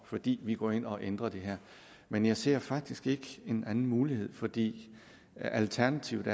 fordi vi går ind og ændrer det her men jeg ser faktisk ikke en anden mulighed fordi alternativet